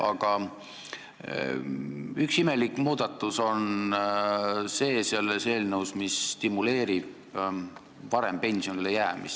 Aga üks imelik muudatus selles eelnõus stimuleerib varem pensionile jäämist.